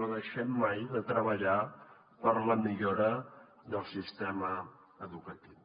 no deixem mai de treballar per a la millora del sistema educatiu